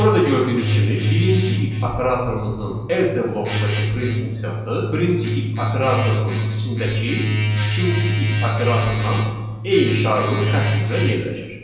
Burada gördüyünüz kimi birinci if operatorumuzun else blokundakı print funksiyası birinci if operatorunun içindəki ikinci if operatoruna eyni şaquli xətt üzrə yerləşir.